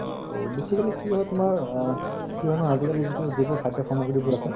তৌ basically কি হয় তুমাৰ আ আজিকালি যিতো যিবোৰ খাদ্য সামগ্ৰীবোৰ আছে